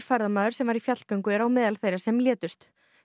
ferðamaður sem var í fjallgöngu er á meðal þeirra sem létust